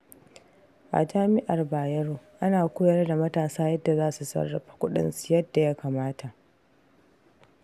A Jami'ar Bayero, ana koyar da matasa yadda za su sarrafa kuɗinsu yadda ya kamata.